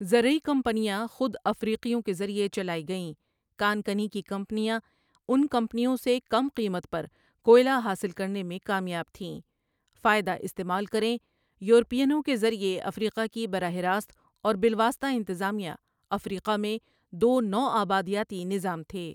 زرعی کمپنیاں خود افریقیوں کے ذریعہ چلائی گئیں کان کنی کی کمپنیاں ان کمپنیوں سے کم قیمت پر کوئلہ حاصل کرنے میں کامیاب تھیں فائدہ استعمال کریں یورپینوں کے ذریعہ افریقہ کی براہ راست اور بالواسطہ انتظامیہ افریقہ میں دو نوآبادیاتی نظام تھے